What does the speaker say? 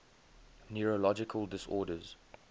neurological disorders